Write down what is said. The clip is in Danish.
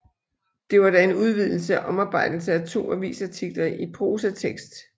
Det var da en udvidelse og omarbejdelse af to avisartikler i prosatekst